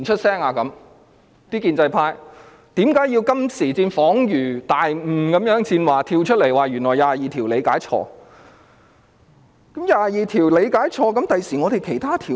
那些建制派為何到今時今日才恍然大悟般跳出來說，原來大家錯誤理解《基本法》第二十二條？